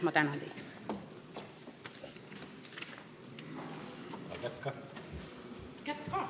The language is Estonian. Ma tänan!